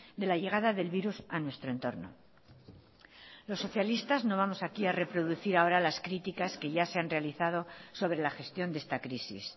de la llegada del virus a nuestro entorno los socialistas no vamos aquí a reproducir ahora las críticas que ya se han realizado sobre la gestión de esta crisis